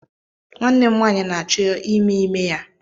Nwanne m nwaanyị na-achọ ime ime ya.